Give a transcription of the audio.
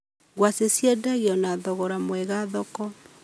Ngwacĩ ciendagio na thogora mwega thoko.